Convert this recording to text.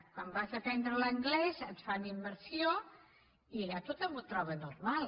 quan vas a aprendre l’anglès et fan immersió i allà tothom ho troba normal